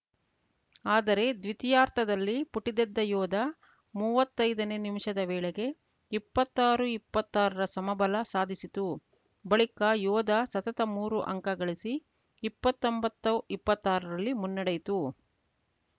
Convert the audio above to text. ಆದರೆ ದ್ವಿತೀಯಾರ್ಧದಲ್ಲಿ ಪುಟಿದೆದ್ದ ಯೋಧಾ ಮುವತ್ತೈದನೇ ನಿಮಿಷದ ವೇಳೆಗೆ ಇಪ್ಪತ್ತಾರುಇಪ್ಪತ್ತಾರರ ಸಮಬಲ ಸಾಧಿಸಿತು ಬಳಿಕ ಯೋಧಾ ಸತತ ಮೂರು ಅಂಕ ಗಳಿಸಿ ಇಪ್ಪತ್ತೊಂಬತ್ತು ಇಪ್ಪತ್ತಾರರಲ್ಲಿ ಮುನ್ನಡೆಯಿತು